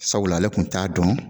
Sabula ale kun t'a dɔn